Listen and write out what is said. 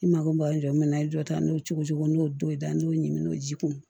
I mako b'a jɔ na i ye dɔ ta n'o cogo n y'o dɔ ye dan n t'o ɲimi n'o ji kun